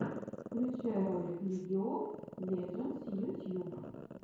включай ролик лиги оф леджендс ютьюб